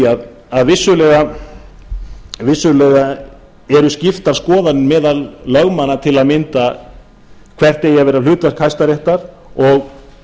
því að vissulega eru skiptar skoðanir meðal lögmanna til að mynda hvert eigi að vera hlutverk hæstaréttar og